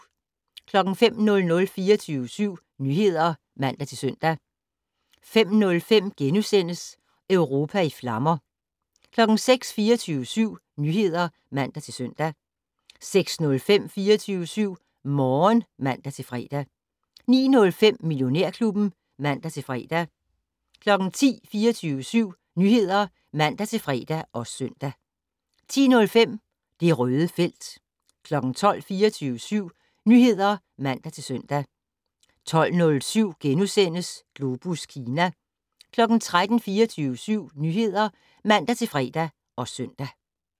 05:00: 24syv Nyheder (man-søn) 05:05: Europa i flammer * 06:00: 24syv Nyheder (man-søn) 06:05: 24syv Morgen (man-fre) 09:05: Millionærklubben (man-fre) 10:00: 24syv Nyheder (man-fre og søn) 10:05: Det Røde felt 12:00: 24syv Nyheder (man-søn) 12:07: Globus Kina * 13:00: 24syv Nyheder (man-fre og søn)